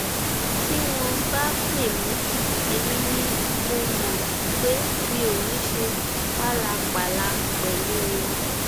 tí wọn bá pè mí èmi ni mo mọ pé mi ò ní í ṣe pálapàla pẹlú wọn